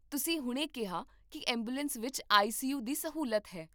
ਤੁਸੀਂ ਹੁਣੇ ਕਿਹਾ ਕਿ ਐਂਬੂਲੈਂਸ ਵਿੱਚ ਆਈ ਸੀ ਯੂ ਦੀ ਸਹੂਲਤ ਹੈ